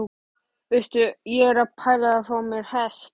Veistu, ég er að pæla í að fá mér hest!